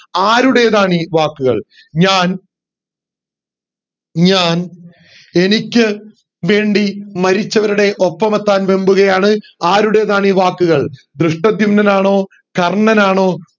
ആരുടേതാണീ വാക്കുകൾ ഞാൻ ഞാൻ എനിക്ക് വേണ്ടി മരിച്ചവരുടെ ഒപ്പമെത്താൻ വെമ്പുകയാണ് ആരുടേതാണീ വാക്കുകൾ ധൃഷ്ടധ്യുമ്നൻ ആണോ കർണ്ണൻ ആണോ